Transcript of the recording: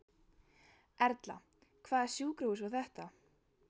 Erla: Hvaða sjúkrahús var þetta?